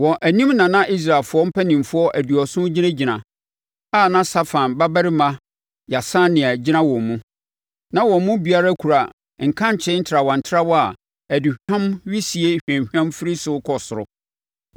Wɔn anim na na Israelfoɔ mpanimfoɔ aduɔson gyinagyina a na Safan babarima Yaasania gyina wɔn mu. Na wɔn mu biara kura nkankyee ntrawantrawa a aduhwam wisie hwamhwam firi so rekɔ soro.